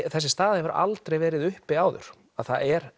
þessi staða hefur aldrei verið uppi áður það er